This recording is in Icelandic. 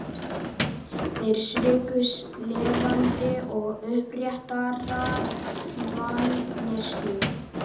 Þeir sviku lifandi og uppréttar manneskjur.